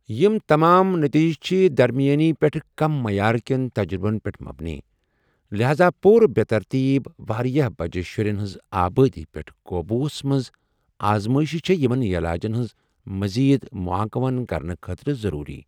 یِم تمام نتیجہِ چھِ درمَیٲنی پیٹھہٕ كم معیار كین تجرٗبن پیٹھ مبنی، لہاذا پورٕ بے٘ ترتیب ، وارِیاہ بجہِ شٗرین ہنزِ آبٲدی پیٹھ قوبوُہس منز آزمٲیشہِ چھے٘ یمن یلاجن ہنز مزید مو٘آنكون كرنہٕ خٲطرٕ ضروُری ۔